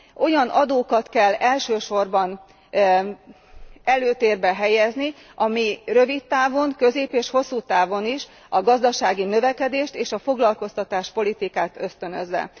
Olyan adókat kell elsősorban előtérbe helyezni, amelyek rövid közép és hosszútávon is a gazdasági növekedést és a foglalkoztatáspolitikát ösztönözik.